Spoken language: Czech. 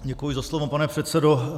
Děkuji za slovo, pane předsedo.